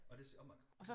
Og det og man